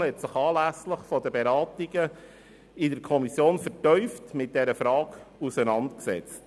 Die FiKo hat sich anlässlich der Beratungen in der Kommission vertieft mit dieser Frage auseinandergesetzt.